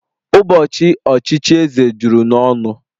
Ụbọchị ochichi eze juru n'ọnụ